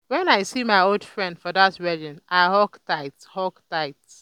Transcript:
wen i see my um old friend for dat wedding i hug tight. hug tight.